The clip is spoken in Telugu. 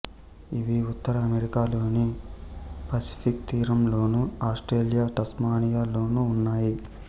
ఇవి ఉత్తర అమెరికా లోని పసిఫిక్ తీరంలోను ఆస్ట్రేలియా టాస్మానియా లోను ఉన్నాయి